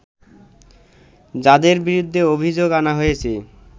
যাদের বিরুদ্ধে অভিযোগ আনা হয়েছে